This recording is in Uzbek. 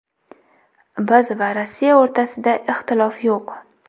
Biz va Rossiya o‘rtasida ixtilof yo‘q.